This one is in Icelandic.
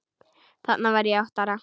Þarna var ég átta ára.